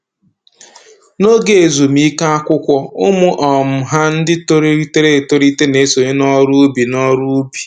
N'oge ezumike akwụkwọ, ụmụ um ha ndị toliterela etolite na-esonye n'ọrụ ubi n'ọrụ ubi